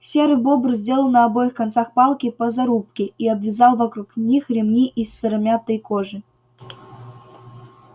серый бобр сделал на обоих концах палки по зарубке и обвязал вокруг них ремни из сыромятной кожи